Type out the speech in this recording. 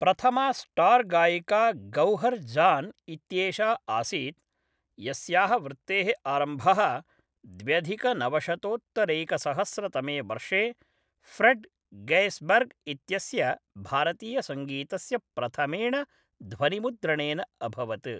प्रथमा स्टार्गायिका गौहर् जान् इत्येषा आसीत्, यस्याः वृत्तेः आरम्भः द्व्यधिकनवशतोत्तरैकसहस्रतमे वर्षे, फ्रेड् गैस्बर्ग् इत्यस्य भारतीयसङ्गीतस्य प्रथमेण ध्वनिमुद्रणेन अभवत्।